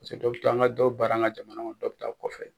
dɔ bi to an ka dɔw bi baara an ka jamana kɔnɔ dɔ bi taa kɔfɛ.